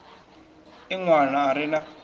e ṋwana a re na